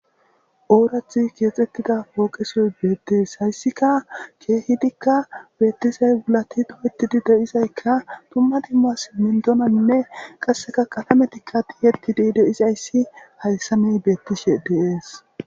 oorathi keexxettida pooqesoy beettees hayssika keehidikka beettizay wulati duwetidi deizaykka tumma dimmas mindonanne qasseka kalametikka diyeti di deizayssi hayssamey beettishe deees